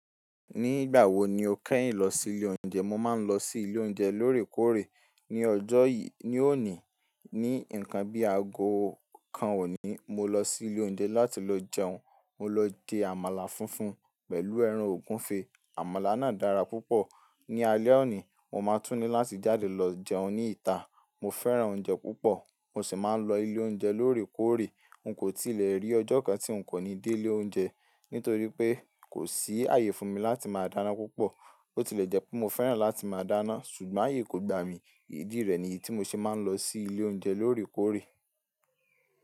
Ní ìgbà wo ni o kẹ́yìn lọ sí ilé oúnjẹ? Mo máa ń lọ sí ilé oúnjẹ lóòrèkóòrè. Ní ọjọ́ yìí, ní òní, ní ǹkan bí ago kan òní, mo lọ sí ilé oúnjẹ láti lọ jẹun. Mo lọ je àmàlà funfun pẹ̀lú ẹran ògúnfe. Àmàlà náà dára púpọ̀. Ni alé òní, mo máa tún ní láti jáde lọ jẹun ní ìta. Mo fẹ́ràn oúnjẹ púpọ̀, mo sì máa ń lọ ilé oúnjẹ lóòrèkóòrè. N kò tí lè rí ọjọ́ kan tí n kò ní dé ilé oúnjẹ. Nítorí pé kò sí àyè fún mi láti máa dáná púpọ̀. Ó ti lè jẹ́ pé mo fẹ́ràn láti máa dáná, ṣùgbọ́n àyè kò gba mi. Idí rẹ̀ ni iyí tí mo ṣe máa ń lọ sí ilé oúnjẹ lóòrèkóòrè.